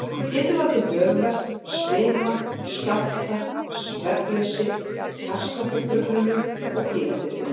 Það getur valdið höfuðverk, svima, skjálfta, svefnleysi, hjartsláttartruflunum og kvíðatilfinningu.